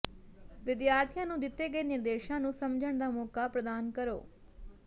ਵਿਦਿਆਰਥੀਆਂ ਨੂੰ ਦਿੱਤੇ ਗਏ ਨਿਰਦੇਸ਼ਾਂ ਨੂੰ ਸਮਝਣ ਦਾ ਮੌਕਾ ਪ੍ਰਦਾਨ ਕਰੋ